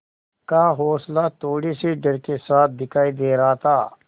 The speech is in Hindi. का हौंसला थोड़े से डर के साथ दिखाई दे रहा था